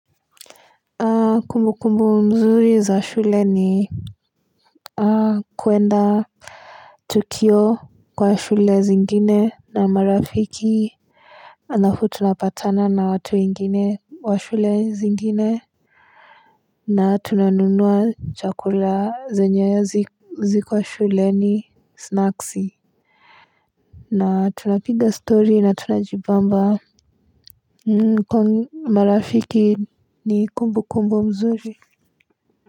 Kumbukumbu mzuri za shule ni kuenda tukio kwa shule zingine na marafiki halafu tunapatana na watu wengine wa shule zingine na tunanunua chakula zenye haziko shuleni snacks na tunapiga story na tunajibamba marafiki ni kumbukumbu mzuri.